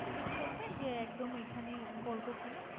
ঠিক করবেন যে একদম এখানে করবো কি না?